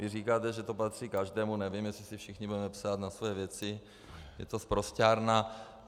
Vy říkáte, že to patří každému, nevím, jestli si všichni budeme psát na svoje věci, je to sprosťárna.